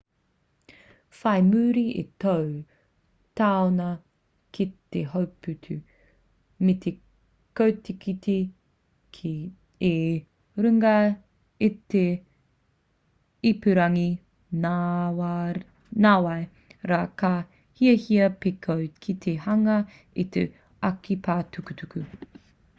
whai muri i tō taunga ki te hōputu me te kotikoti i runga i te ipurangi nāwai rā ka hiahia pea koe ki te hanga i tō ake pae tukutuku